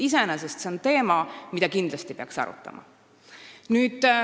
Iseenesest on see teema, mida peaks kindlasti arutama.